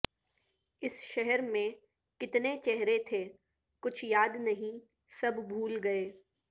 اس شہر میں کتنے چہرے تھے کچھ یاد نہیں سب بھول گئے